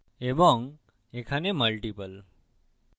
এবং এখানে multiple